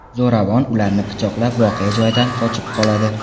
Zo‘ravon ularni ham pichoqlab, voqea joyidan qochib qoladi.